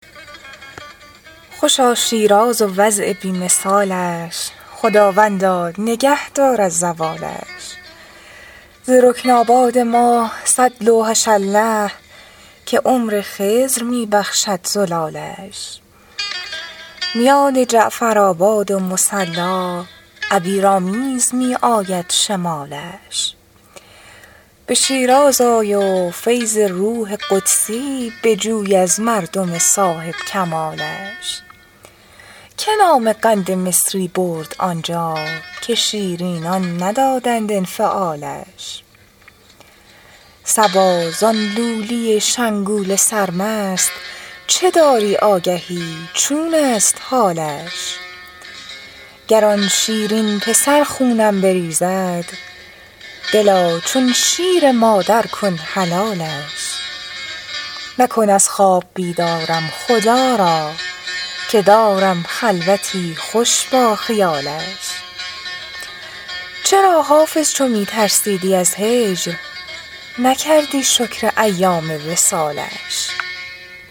خوشا شیراز و وضع بی مثالش خداوندا نگه دار از زوالش ز رکن آباد ما صد لوحش الله که عمر خضر می بخشد زلالش میان جعفرآباد و مصلا عبیرآمیز می آید شمالش به شیراز آی و فیض روح قدسی بجوی از مردم صاحب کمالش که نام قند مصری برد آنجا که شیرینان ندادند انفعالش صبا زان لولی شنگول سرمست چه داری آگهی چون است حالش گر آن شیرین پسر خونم بریزد دلا چون شیر مادر کن حلالش مکن از خواب بیدارم خدا را که دارم خلوتی خوش با خیالش چرا حافظ چو می ترسیدی از هجر نکردی شکر ایام وصالش